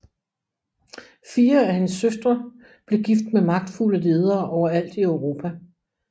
Fire af hendes søstre blev gift med magtfulde ledere overalt i Europa